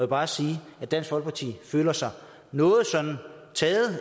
bare sige at dansk folkeparti føler sig noget sådan taget